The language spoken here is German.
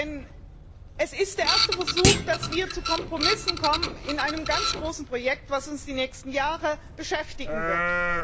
Denn es ist der erste Versuch, dass wir zu Kompromissen kommen in einem ganz großen Projekt, das uns die nächsten Jahre beschäftigen wird.